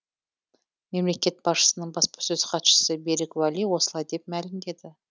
мемлекет басшысының баспасөз хатшысы берік уәли осылай деп мәлімдеді